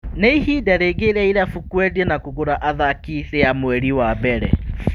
Nĩ ihinda rĩngĩ rĩa irabu kũendia na kũgũra athaki rĩa mweri wa mbere.